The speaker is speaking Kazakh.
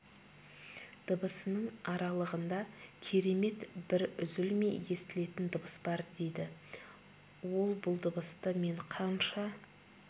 дыбысының аралығында керемет бір үзілмей естілетін дыбыс бар дейді ол бұл дыбысты мен қанша